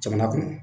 Jamana kɔnɔ